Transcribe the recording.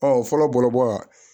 Ɔ fɔlɔ bɔlɔbɔ